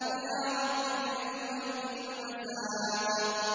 إِلَىٰ رَبِّكَ يَوْمَئِذٍ الْمَسَاقُ